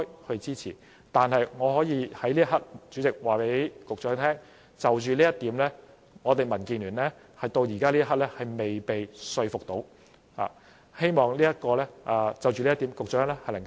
但是，主席，我可以在此刻告訴局長，就着這一點，民建聯直至此刻仍未被說服，希望局長能就這一點多作回應。